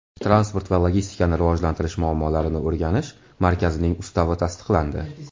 Transport va logistikani rivojlantirish muammolarini o‘rganish markazining ustavi tasdiqlandi.